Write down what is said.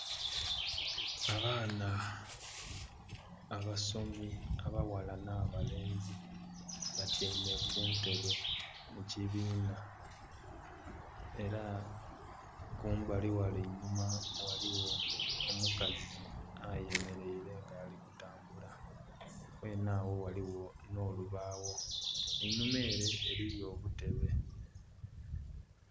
Abaana abasomi abaghala n'abalenzi batyaime kuntebe mukibinha era kumbali ghale einhuma ghaligho omukazi ayemereire nga ali kutambula ghene agho ghaligho n'olubawo, einhuma ere eriyo obutebe.